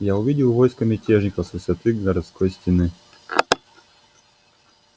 я увидел войско мятежников с высоты городской стены